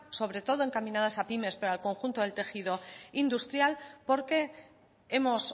sobre todo encaminadas a pymes pero al conjunto del tejido industrial porque hemos